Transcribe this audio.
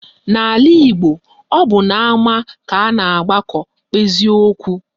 N'ala Igbo, ọ bụ n'ama ka a na-agbakọ kpezie okwu